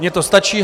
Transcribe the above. Mně to stačí.